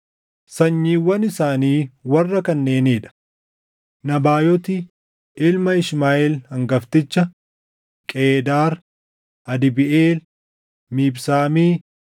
Sanyiiwwan isaanii warra kanneenii dha: Nabaayooti ilma Ishmaaʼeel hangafticha, Qeedaar, Adbiʼeel, Mibsaami,